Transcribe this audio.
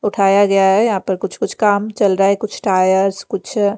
उठाया गया है यहाँ पर कुछ-कुछ काम चल रहा है कुछ टायर्स कुछ--